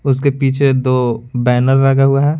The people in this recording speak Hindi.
उसके पीछे दो बैनर लगा हुआ है।